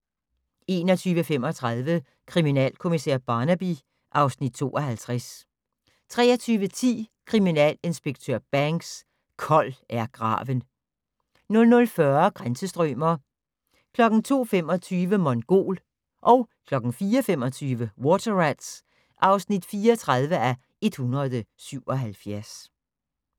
21:35: Kriminalkommissær Barnaby (Afs. 52) 23:10: Kriminalinspektør Banks: Kold er graven 00:40: Grænsestrømer 02:25: Mongol 04:25: Water Rats (34:177)